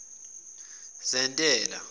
zentela